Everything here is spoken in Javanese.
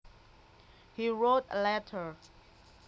He wrote a letter